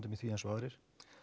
í því eins og aðrir